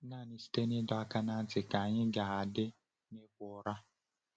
Naanị site n’ịdọ aka ná ntị ka anyị ga-adị n’ịkwa ụra.